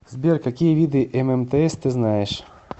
сбер какие виды ммтс ты знаешь